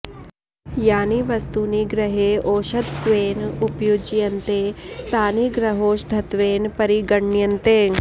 यानि वस्तूनि गृहे औषधत्वेन उपयुज्यन्ते तानि गृहौषधत्वेन परिगण्यन्ते